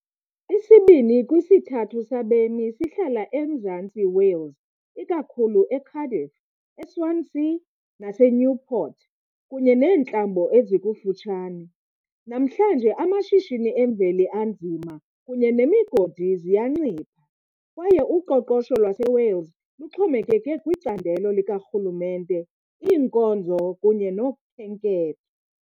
Isibini kwisithathu sabemi sihlala eMzantsi Wales, ikakhulu eCardiff, eSwansea naseNewport, kunye neentlambo ezikufutshane. Namhlanje, amashishini emveli anzima kunye nemigodi ziyancipha, kwaye uqoqosho lwaseWales luxhomekeke kwicandelo likarhulumente, iinkonzo kunye nokhenketho.